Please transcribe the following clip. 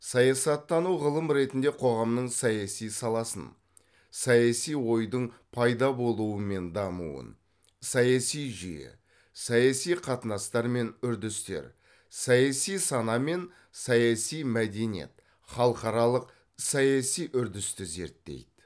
саясаттану ғылым ретінде қоғамның саяси саласын саяси ойдың пайда болуы мен дамуын саяси жүйе саяси қатынастар мен үрдістер саяси сана мен саяси мәдениет халықаралық саяси үрдісті зерттейді